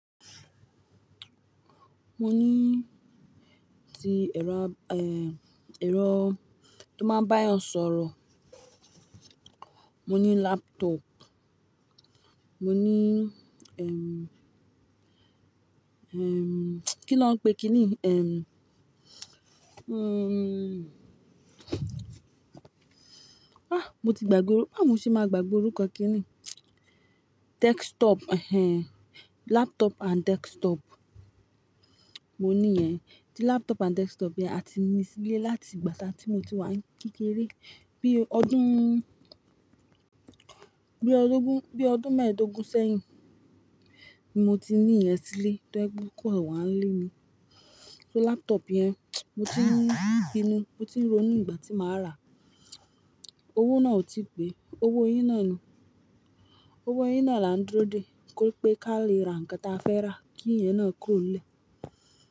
Mo ní tí ẹ̀rọ, eh, ẹ̀rọ tó máa bá ọ sọ̀rọ̀. Mo ní laptop. Mo ní, ehm, ehm, kí lọ́ ń pè kìní? Ehm, hmm, ah, mo ti gbàgbọ́, bá mu ṣe máa gbàgbọ́ orúkọ kìní? Desktop, ehn, laptop and desktop. Mo ní ẹ, tí laptop and desktop yẹn, a ti ní sílé láti ìgbà sá tí mo ti wá ń kékeré. Bí ọdún, bí ọdún gún, bí ọdún mẹ́ẹ̀dógún sẹ́yìn, mo ti ní ìyẹn sílé tó ẹgbú kọ́, èwọ̀ á lé mi. So laptop yẹn, mo ti ń rí inú, mo ti ń ro inú ìgbà tí màá rà á. Owó náà ò tí pè. Owó yín náà ni, owó yín náà là ń dúró dè kó pé ká lè ra nǹkan tí a fẹ́ rà kí ìyẹn náà kó lẹ̀.